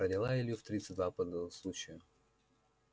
родила илью в тридцать два по случаю